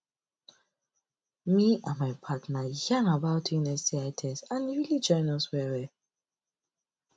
me and my partner yarn about doing sti test and e really join us well well